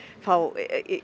fá